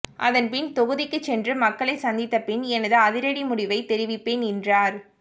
அதன்பின் தொகுதிக்கு சென்று மக்களை சந்தித்த பின் எனது அதிரடி முடிவை தெரிவிப்பேன் என்றார்